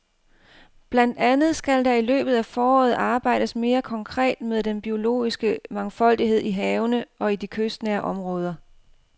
Blandt andet skal der i løbet af foråret arbejdes mere konkret med den biologiske mangfoldighed i havene og i de kystnære områder.